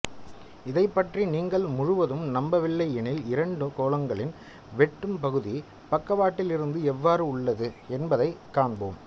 இதைப் பற்றி நீங்கள் முழுவதும் நம்பவில்லை எனில் இரண்டு கோளங்களின் வெட்டும் பகுதி பக்கவாட்டிலிருந்து எவ்வாறு உள்ளது என்பதை காண்போம்